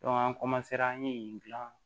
an an ye yen gilan